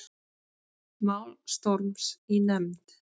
Mál Storms í nefnd